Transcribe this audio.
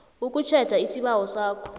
ukutjheja isibawo sakho